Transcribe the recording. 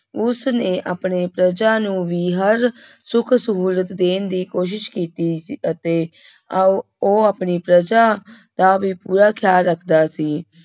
ਉਸਨੇ ਆਪਣੇ ਪ੍ਰਜਾ ਨੂੰ ਵੀ ਹਰ ਸੁੱਖ ਸਹੂਲਤ ਦੇਣ ਦੀ ਕੋਸ਼ਿਸ਼ ਕੀਤੀ ਸੀ ਅਤੇ ਓਹ ਉਹ ਆਪਣੀ ਪ੍ਰਜਾ ਦਾ ਵੀ ਪੂਰਾ ਖਿਆਲ ਰੱਖਦਾ ਸੀ।